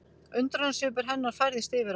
Undrunarsvipur hennar færðist yfir á